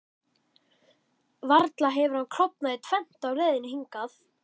Varla hefur hann klofnað í tvennt á leiðinni hingað?